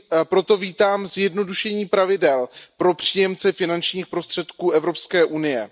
Proto vítám zjednodušení pravidel pro příjemce finančních prostředků Evropské unie.